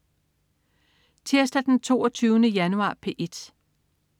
Tirsdag den 22. januar - P1: